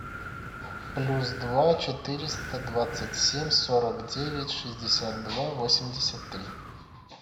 плюс два четыреста двадцать семь сорок девять шестьдесят два восемьдесят три